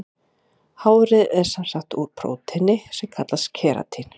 Hárið er sem sagt úr prótíni sem kallast keratín.